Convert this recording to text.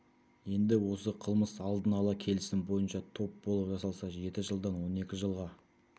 енді осы қылмыс алдын ала келісім бойынша топ болып жасалса жеті жылдан он екі жылға